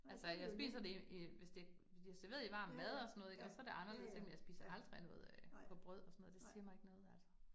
Altså jeg spiser det i, i, hvis det bliver serveret i varm mad og sådan noget ik, og så det anderledes men jeg spiser aldrig noget øh på brød og sådan noget, det siger mig ikke noget altså